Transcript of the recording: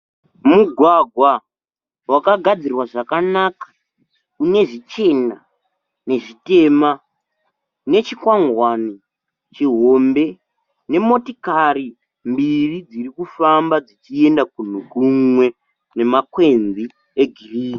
Mugwagwa wakagadzirwa zvakanaka une zvichena nezvitema nechikwangwani chihombe nemotikari mbiri dziri kufamba dzichienda kunhu kumwe nemakwenzi egirinhi.